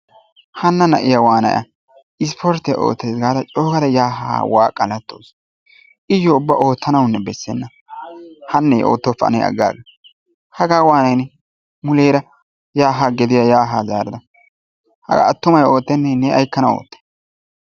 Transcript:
Hana na'iya waanay a? Ispporttiya ootaysi gaada coo yaa waqalattawusu. Iyoo ubba oottanawunne bessenna, hanne oottoppa ne agaaga. Hagaa waanay ne? Muleera yaa haa gediyaa zarada hagaa attumay oottenne ne aykkanawu oottay?